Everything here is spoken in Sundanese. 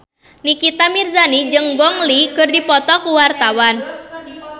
Nikita Mirzani jeung Gong Li keur dipoto ku wartawan